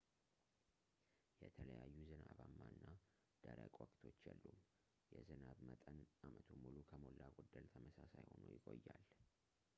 የተለዩ ዝናባማ እና ደረቅ ወቅቶች የሉም የዝናብ መጠን አመቱን ሙሉ ከሞላ ጎደል ተመሳሳይ ሆኖ ይቆያል